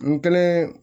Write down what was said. N kelen